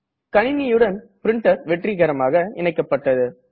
கணினியுடன் பிரின்டர் வெற்றிகரமாக இணைக்கப்பட்டது